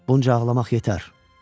Bunca ağlamaq yetər.